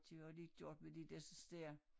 Det har de gjort med de dersens dér